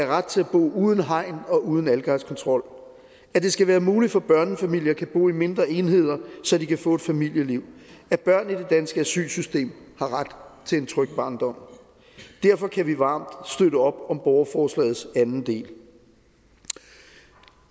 ret til at bo uden hegn og uden adfærdskontrol at det skal være muligt for børnefamilier kan bo i mindre enheder så de kan få et familieliv at børn i det danske asylsystem har ret til en tryg barndom derfor kan vi varmt støtte op om borgerforslagets anden del